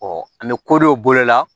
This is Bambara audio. an bɛ kodow bolo la